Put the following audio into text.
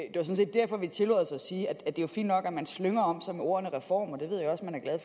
derfor vi tillod os at sige at det jo er fint nok at man slynger om sig med ordet reform